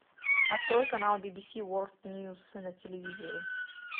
открой канал би би си ворлд ньюс на телевизоре